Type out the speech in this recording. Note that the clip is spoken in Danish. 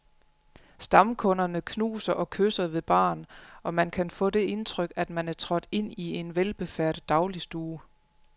Stamkunderne knuser og kysser ved baren, og man kan få det indtryk, at man er trådt ind i en velbefærdet dagligstue.